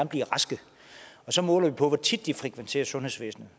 blive raske og så måler vi på hvor tit de frekventerer sundhedsvæsenet